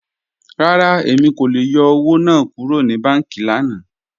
Rárá, Emi kò lè yọ́ owo naa kúrò ni bànkí lànà.